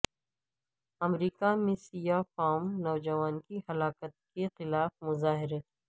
امریکہ میں سیاہ فام نوجوان کی ہلاکت کے خلاف مظاہرے